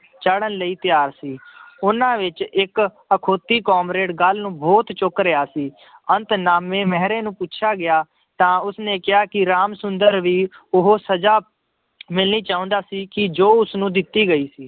ਚਾੜ੍ਹਨ ਲਈ ਤਿਆਰ ਸੀ ਉਹਨਾਂ ਵਿੱਚ ਇੱਕ ਅਖਾਉਤੀ ਕਾਮਰੇਡ ਗੱਲ ਨੂੰ ਬਹੁਤ ਚੁੱਕ ਰਿਹਾ ਸੀ ਅੰਤ ਨਾਮੇ ਮਹਿਰੇ ਨੂੰ ਪੁੱਛਿਆ ਗਿਆ ਤਾਂ ਉਸਨੇ ਕਿਹਾ ਕਿ ਰਾਮ ਸੁੰਦਰ ਵੀ ਉਹ ਸਜ਼ਾ ਮਿਲਣੀ ਚਾਹੁੰਦਾ ਸੀ ਕਿ ਜੋ ਉਸਨੂੰ ਦਿੱਤੀ ਗਈ ਸੀ।